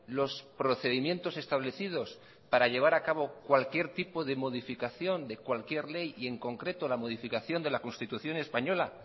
los procedimientos establecidos para llevar a cabo cualquier tipo de modificación de cualquier ley y en concreto la modificación de la constitución española